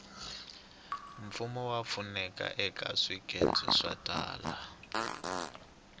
mfumo wa pfuneta eka swikece swo tala